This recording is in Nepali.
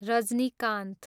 रजनीकान्त